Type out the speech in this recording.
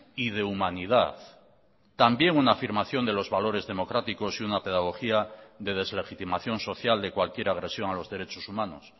y de humanidad también una afirmación de los valores democráticos y una pedagogía de deslegitimación social de cualquier agresión a los derechos humanos